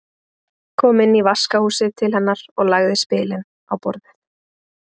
Kom inn í vaskahúsið til hennar og lagði spilin á borðið.